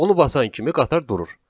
Onu basan kimi qatar durur.